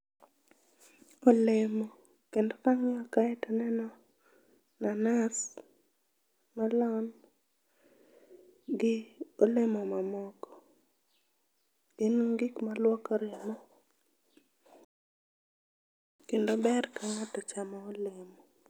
Olemo. Kendo kang'iyo kae to aneno mananas, melon gi olemo mamoko. Gin gik maduoko remo kendo ber ka ng'ato chamo olemo.